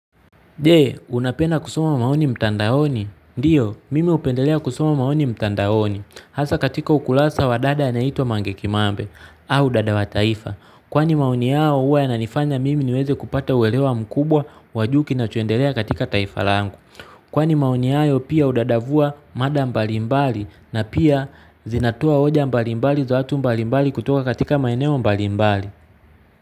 Je, unapenda kusoma maoni mtandaoni? Ndiyo, mimi hupendelea kusoma maoni mtandaoni. Hasaa katika ukurasa wa dada anaitwa Mange Kimambe, au dada wa taifa. Kwani maoni yao huwa yananifanya mimi niweze kupata uelewa mkubwa wa juu kinachoendelea katika taifa langu. Kwani maoni hayo pia hudadavua mada mbalimbali na pia zinatoa hoja mbalimbali za watu mbalimbali kutoka katika maeneo mbalimbali.